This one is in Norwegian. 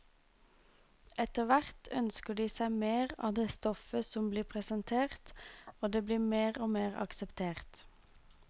Etterhvert ønsker de seg mer av det stoffet som blir presentert, og det blir mer og mer akseptert.